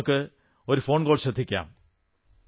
ഇനി നമുക്ക് ഒരു ഫോൺകോൾ ശ്രദ്ധിക്കാം